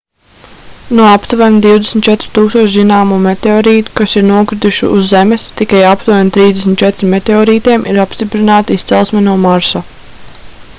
no aptuveni 24 000 zināmo meteorītu kas ir nokrituši uz zemes tikai aptuveni 34 meteorītiem ir apstiprināta izcelsme no marsa